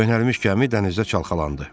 Köhnəlmiş gəmi dənizdə çalxalandı.